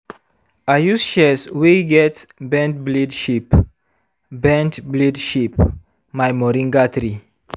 i use shears wey get bend blade shape bend blade shape my moringa tree.